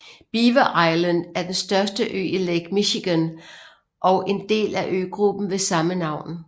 Beaver Island er den største ø i Lake Michigan og en del af øgruppen ved samme navn